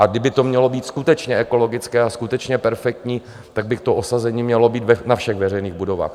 A kdyby to mělo být skutečně ekologické a skutečně perfektní, tak by to osazení mělo být na všech veřejných budovách.